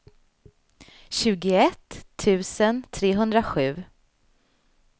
tjugoett tusen trehundrasju